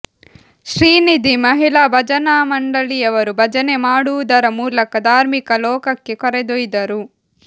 ಶ್ರೀನಿಧಿ ಮಹಿಳಾ ಭಜನಾ ಮಂಡಳಿಯವರು ಭಜನೆ ಮಾಡುವುದರ ಮೂಲಕ ಧಾರ್ಮಿಕ ಲೋಕಕ್ಕೆ ಕರೆದೋಯ್ದರು